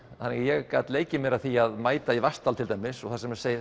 ég gat leikið mér að því að mæta í Vatnsdal til dæmis þar sem segir